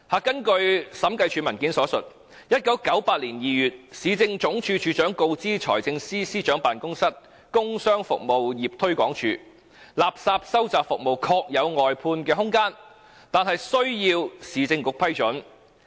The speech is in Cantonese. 根據審計署文件所述，"在1998年2月，市政總署署長告知財政司司長辦公室工商服務業推廣署：垃圾收集服務確有外判的空間，但須獲得市政局批准。